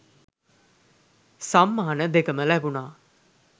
සම්මාන දෙකම ලැබුණා.